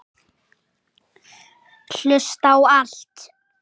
Hlusta á allt!!